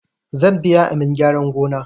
Zan biya amin gyaran gona